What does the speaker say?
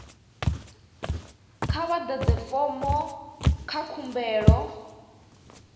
kha vha ḓadze fomo dza khumbelo